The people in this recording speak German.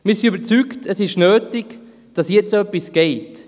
Wir sind überzeugt, es sei nötig, dass jetzt etwas geschieht.